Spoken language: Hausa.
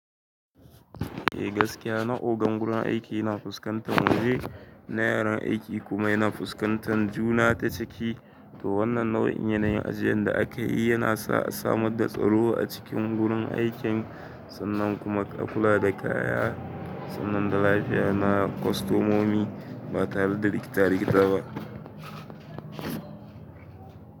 Eh gaskiya na ogan gurin aiki na fuskantan wuri na yaran aiki kuma yana fuskantan juna ta ciki. To wannan nau'in yanayin ajiyan da aka yi yana sa a samar da tsaro a cikin gurin aikin sannan kuma a kula da kaya sannan da lafiya na kwastomomi ba tare da rikitarikita ba.